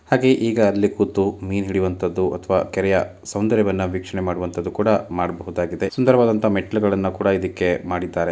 ಹಾಗೆ ಈಗ ಅಲ್ಲಿ ಕೂತು ಮೀನು ಹಿಡಿಯುವಂತಹದ್ದು ಅಥವಾ ಕೆರೆಯ ಸೌಂದರ್ಯವನ್ನು ವೀಕ್ಷಣೆ ಮಾಡುವಂತಹದ್ದು ಕೂಡ ಮಾಡಬಹುದಾಗಿದೆ ಸುಂದರವಾದಂತಹ ಮೆಟ್ಟಿಲುಗಳನ್ನು ಕೂಡ ಇದಕ್ಕೆ ಮಾಡಿದ್ದಾರೆ.